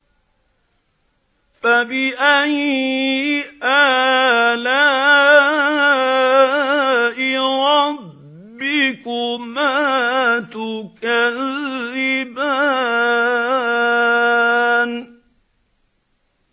فَبِأَيِّ آلَاءِ رَبِّكُمَا تُكَذِّبَانِ